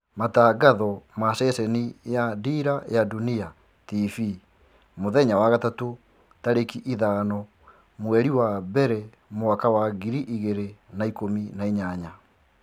Matangatho ma ceceni ya Dira ya dunia Tv Jumatano tarĩkĩ ithano mweri wa mbere mwaka wa ngiri igĩrĩ na ikũmi na inyanya.